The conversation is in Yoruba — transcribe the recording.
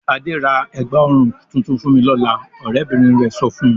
"Adé ra ẹ̀gbá-ọrùn tuntun fún mi lọ́la!" Ọ̀rẹ́bìnrin rẹ̀ sọ fún un.